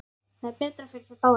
Það er betra fyrir þær báðar.